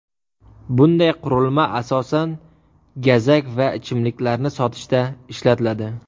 Bunday qurilma asosan gazak va ichimliklarni sotishda ishlatiladi.